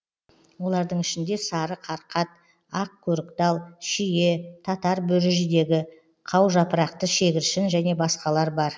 олардың ішінде сары қарқат ақ көріктал шие татар бөріжидегі қаужапырақты шегіршін және басқалар бар